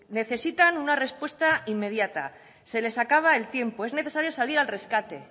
necesitan una respuesta inmediata se les acaba el tiempo es necesario salir al rescate